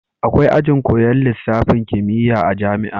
Akwai ajin koyan lisafin kimiya a jamia